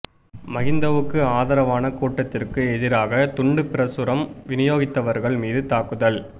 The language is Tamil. மகிந்தவுக்கு ஆதரவான கூட்டத்திற்கு எதிராக துண்டுப் பிரசுரம் விநியோகித்தவர்கள் மீது தாக்குதல்